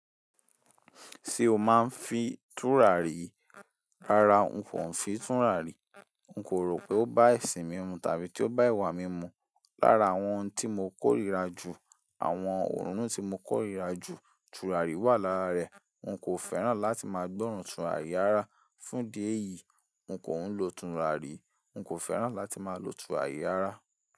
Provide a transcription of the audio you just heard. Ṣé o máa ń fi tùràrí? Rárá n kò ń fi tùràrí. N kò rò pé ó bá ẹṣin mí mu tàbí tí ó bá ẹ̀wà mí mu. Lára àwọn ohun tí mo kórìíra jù, àwọn òórùn tí mo kórìíra jù, tùràrí wà lára rẹ̀. N kò fẹ́ràn láti máa gbọ́ràn tùràrí ará. Fún idi eyìí, n kò ń lo tùràrí. N kò fẹ́ràn láti máa lo tùràrí ará.